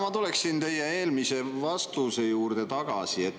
Ma tulen teie eelmise vastuse juurde tagasi.